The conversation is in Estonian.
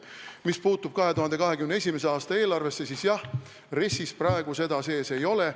Mis puutub 2021. aasta eelarvesse, siis jah, RES-is praegu seda sees ei ole.